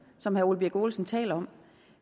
som herre ole birk olesen taler om